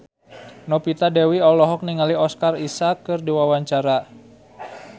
Novita Dewi olohok ningali Oscar Isaac keur diwawancara